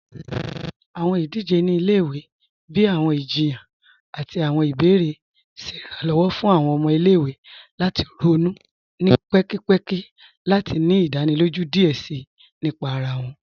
Awọn idije ni ilẹ̀-iwe, bíi awọn ìjìyàn àti awọn ìbèèrè, ṣẹ Ìrànlọ́wọ́ fún awọn ọmọ ilẹ̀-iwe lati ronú ni pẹ̀kìpẹ̀kì àti ni ìdánílójú díẹ̀ síí nípà ara wọn.